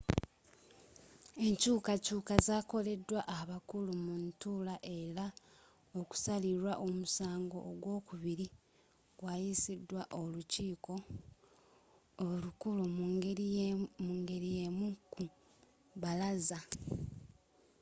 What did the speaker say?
enkyukakyuka zakoleddwa abakulu mu ntuula era okusalirwa omusango ogwokubiri gwayisiddwa olukiiko olukulu mu ngeri yemu ku bbalaza